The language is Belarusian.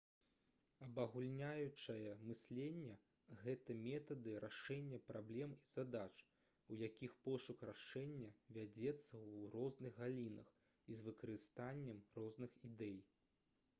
абагульняючае мысленне гэта метады рашэння праблем і задач у якіх пошук рашэння вядзецца ў розных галінах і з выкарыстаннем розных ідэй